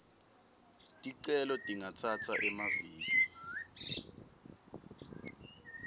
ticelo tingatsatsa emaviki